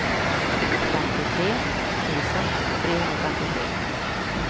femtiotre tusen trehundrafemtiotre